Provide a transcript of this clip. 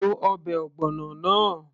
lo ọbẹ̀ ogbono náà